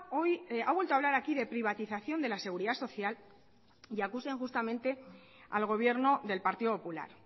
hoy ha vuelto a hablar aquí de privatización de la seguridad social y acusa injustamente al gobierno del partido popular